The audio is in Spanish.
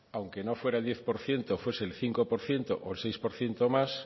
aunque no fuera el diez por ciento fuese el cinco por ciento o el seis por ciento más